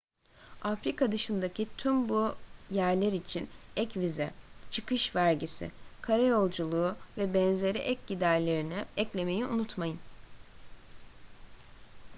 afrika dışındaki tüm bu yerler için ek vize çıkış vergisi kara yolculuğu vb ek giderlerini eklemeyi unutmayın